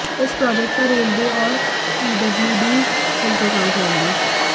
इस प्रोजेक्ट पर रेलवे और पीडब्ल्यूडी मिलकर काम करेंगे